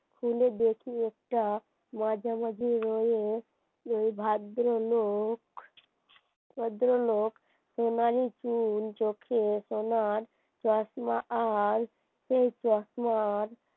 তুলে দেখি একটা মাঝে মাঝে ভদ্রলোক চোখে সোনার তার চশমা আর সেই চশমার